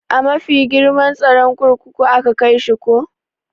A mafi girman tsaron kurkuku aka kaishi ko?